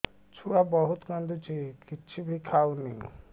ଛୁଆ ବହୁତ୍ କାନ୍ଦୁଚି କିଛିବି ଖାଉନି